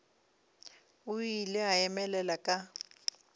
o ile a emelela ka